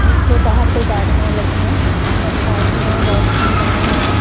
जिसके बाहर दो गाड़ियां लगी है और साइड में वॉशरूम बने हुएं हैं।